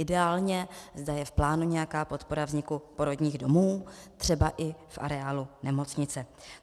Ideálně, zda je v plánu nějaká podpora vzniku porodních domů, třeba i v areálu nemocnice.